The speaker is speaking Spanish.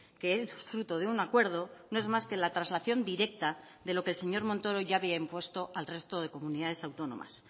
que es fruto de un acuerdo no es más que la traslación directa de lo que el señor montoro ya había impuesto al resto de comunidades autónomas